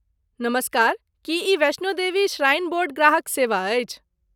नमस्कार! की ई वैष्णो देवी श्राइन बोर्ड ग्राहक सेवा अछि?